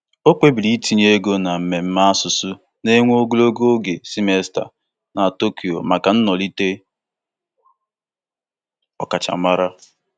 O kpebiri itinye ego na mmemme asụsụ na-ewe ogologo simesta na Tokyo maka ntolite ọkachamara.